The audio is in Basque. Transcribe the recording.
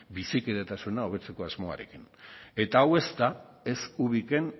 bizikidetasuna hobetzeko asmoarekin eta hau ez da ez ubiken